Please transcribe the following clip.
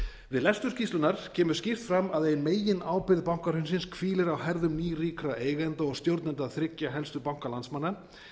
við lestur skýrslunnar kemur skýrt fram að ein meginábyrgð bankahrunsins hvílir á herðum nýríkra eigenda og stjórnenda þriggja helstu banka landsmanna